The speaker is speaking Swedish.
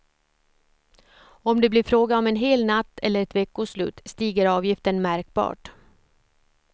Om det blir fråga om en hel natt eller ett veckoslut stiger avgiften märkbart.